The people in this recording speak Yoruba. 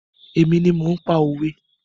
Èmi ni mò ń pa òwe.